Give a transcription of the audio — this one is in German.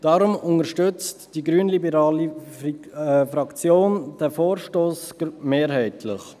Deshalb unterstützt die grünliberale Fraktion diesen Vorstoss mehrheitlich.